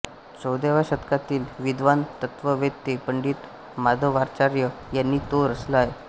चौदाव्या शतकातील विद्वान तत्त्ववेत्ते पंडित माधवाचार्य यांनी तो रचला आहे